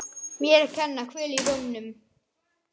Mér að kenna- Kvöl í rómnum.